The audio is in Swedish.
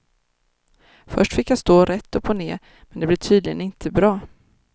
Först fick jag stå rätt upp och ner men det blev tydligen inte bra.